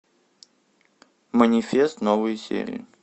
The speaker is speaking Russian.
манифест новые серии